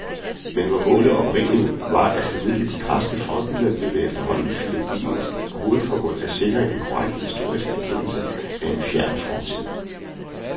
Men hvor målet oprindelig var at formidle de græske forbilleder, blev det efterhånden filologiens hovedformål at sikre en korrekt historisk erkendelse af en fjern fortid.